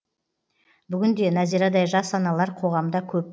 бүгін де нәзирадай жас аналар қоғамда көп